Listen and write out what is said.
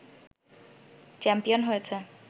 champion হয়েছে